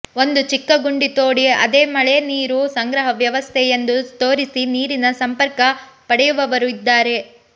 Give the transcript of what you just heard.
ಒಂದು ಚಿಕ್ಕ ಗುಂಡಿ ತೋಡಿ ಅದೇ ಮಳೆ ನೀರು ಸಂಗ್ರಹ ವ್ಯವಸ್ಥೆ ಎಂದು ತೋರಿಸಿ ನೀರಿನ ಸಂಪರ್ಕ ಪಡೆಯುವವರೂ ಇದ್ದಾರೆ